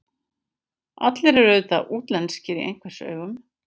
Allir eru auðvitað útlenskir í einhvers augum.